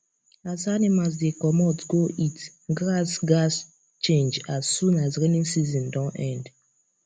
as animals dey comot go eat grass gaz change as soon as rainy season don end